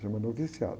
chama noviciato